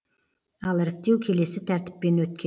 ал іріктеу келесі тәртіппен өткен